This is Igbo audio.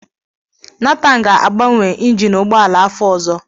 Nathan ga-agbanwe injin ugbọala afọ ọzọ.